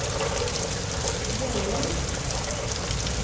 Gällö